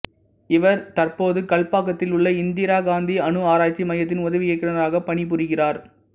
இவர் தற்போது கல்பாக்கத்தில் உள்ள இந்திரா காந்தி அணு ஆராய்ச்சி மையத்தின் உதவி இயக்குனராக பணிபுரிகிறார்